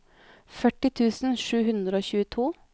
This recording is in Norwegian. førti tusen sju hundre og tjueto